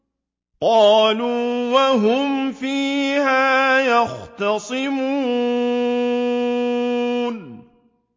قَالُوا وَهُمْ فِيهَا يَخْتَصِمُونَ